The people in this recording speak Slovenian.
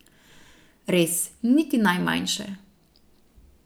Res, niti najmanjše.